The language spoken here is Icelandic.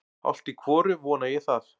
Hálft í hvoru vona ég það.